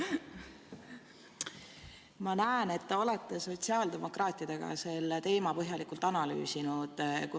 Ma näen, et te olete sotsiaaldemokraatidega seda teemat põhjalikult analüüsinud.